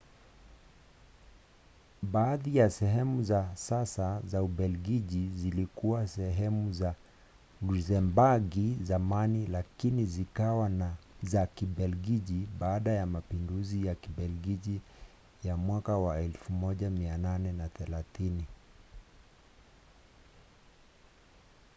baadhi ya sehemu za sasa za ubelgiji zilikuwa sehemu ya lusembagi zamani lakini zikawa za kibelgiji baada ya mapinduzi ya kibelgiji ya 1830